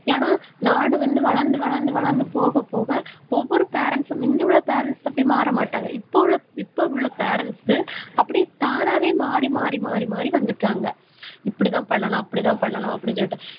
ஏன்னா, நாடு வந்து வளர்ந்து, வளர்ந்து, வளர்ந்து போகப் போக ஒவ்வொரு parents ம் முந்தியுள்ள parents அப்படி மாறமாட்டாங்க. இப்ப உள்ள இப்ப உள்ள parents அப்படி தானாவே மாறி மாறி மாறி மாறி வந்துட்டாங்க. இப்படித்தான் பண்ணணும் அப்படித்தான் பண்ணணும் அப்படீன்னு சொல்லிட்டு.